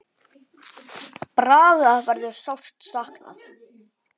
Braga verður sárt saknað.